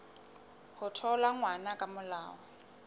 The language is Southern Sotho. ho thola ngwana ka molao